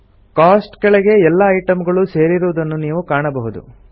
coast ಕೆಳಗೆ ಎಲ್ಲಾ item ಗಳು ಸೇರಿರುವುದನ್ನು ನೀವು ಕಾಣಬಹುದು